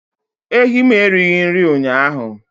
Ehi m erighị nri ụnyaahụ